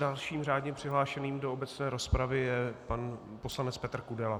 Dalším řádně přihlášeným do obecné rozpravy je pan poslanec Petr Kudela.